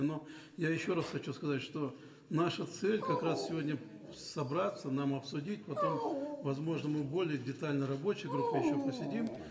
но я еще раз хочу сказать что наша цель как раз сегодня собраться нам обсудить потом возможно мы более детально в рабочей группе еще посидим